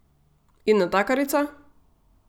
In natakarica?